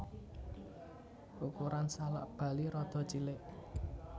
Ukuran salak Bali rada cilik